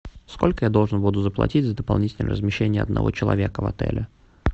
сколько я должен буду заплатить за дополнительное размещение одного человека в отеле